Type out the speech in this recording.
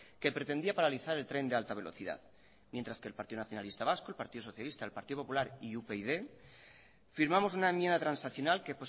que pretendía paralizar el tren de alta velocidad mientras que el partido nacionalista vasco el partido socialista el partido popular y upyd firmamos una enmienda transaccional que